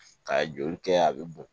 Ka joli kɛ a bɛ bɔn